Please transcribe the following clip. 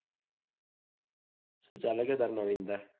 સુ ચાલે તારે નવીનતા